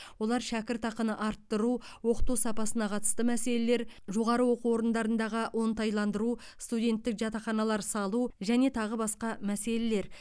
олар шәкіртақыны арттыру оқыту сапасына қатысты мәселелер жоғары оқу орындарындағы оңтайландыру студенттік жатақханалар салу және тағы басқа мәселелер